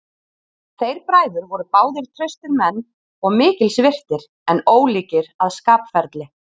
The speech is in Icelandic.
Þeir bræður voru báðir traustir menn og mikils virtir, en ólíkir að skapferli.